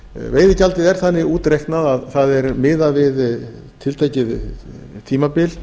veiðigjaldið er þannig útreiknað að það er miðað við tiltekið tímabil